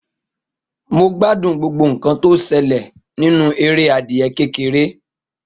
Mo gbádùn gbogbo nkan tó ṣẹlẹ̀ nínú eré adìẹ kékeré